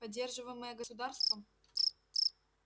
поддерживаемое государством